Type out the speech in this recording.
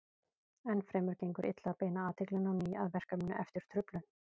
Enn fremur gengur illa að beina athyglinni á ný að verkefninu eftir truflun.